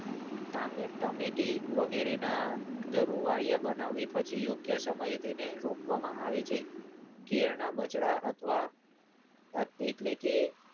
ટામેટમેટી વગેરેના ધરુવાળીયા બનાવી પછી યોગ્ય સમયે તેને રોપવામાં આવે છે. કેળના બછડા અથવા અએટલે કે